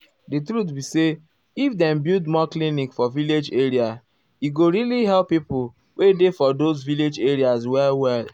di truth be say if dem build more clinic for village area e go really help pipo wey dey for those village areas well well.